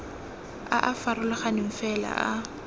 a a farologaneng fela a